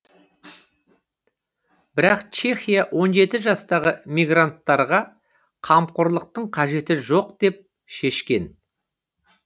бірақ чехия он жеті жастағы мигранттарға қамқорлықтың қажеті жоқ деп шешкен